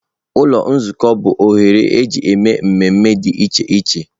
Ụlọ Nzukọ bụ oghere eji eme mmemme dị iche iche.